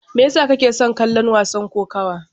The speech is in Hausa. Me yasa kake son kallon wasan kokawa?